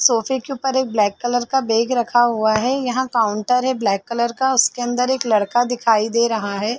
सोफे के ऊपर एक ब्लैक कलर का बैग रखा हुआ है यहाँ काउंटर है ब्लैक कलर का उसके अंदर एक लड़का दिखाई दे रहा है।